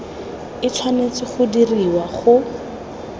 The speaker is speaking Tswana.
e tshwanetse go dirwa go